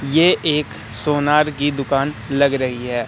ये एक सोनार की दुकान लग रही है।